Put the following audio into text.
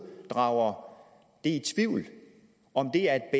drager i tvivl om det er